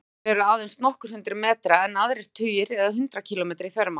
Sumir eru aðeins nokkur hundruð metra en aðrir tugir eða hundruð kílómetra í þvermál.